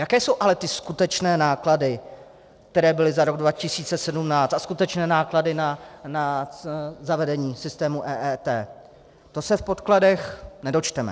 Jaké jsou ale ty skutečné náklady, které byly za rok 2017, a skutečné náklady na zavedení systému EET, to se v podkladech nedočteme.